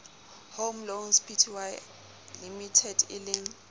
home loans pty limited eleng